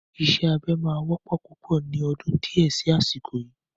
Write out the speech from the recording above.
Ìṣe abẹ máa wọ́pọ̀ púpọ̀ ni ọdún di ẹ sì asiko yii